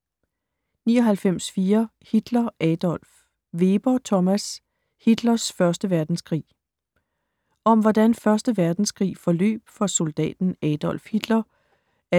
99.4 Hitler, Adolf Weber, Thomas: Hitlers første verdenskrig Om hvordan 1. verdenskrig forløb for soldaten Adolf Hitler (1895-1945)